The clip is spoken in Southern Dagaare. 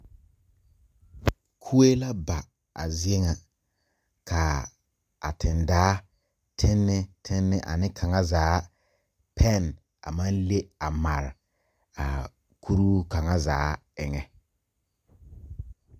Kɔɛ la ba a zeɛ nga kaa ten daa tenni tenni ane kanga zaa pen a mang le a mare a kuruu kanga zaa enga.